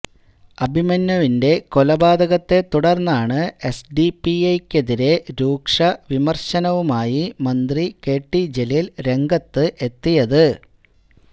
അഭിമന്യുവിന്റെ കൊലപാതക്കെ തുടര്ന്നാണ് എസ്ഡിപിഐക്കെതിരെ രൂക്ഷവിമര്ശനവുമായി മന്ത്രി കെടി ജലീല് രംഗത്ത് എത്തിയത്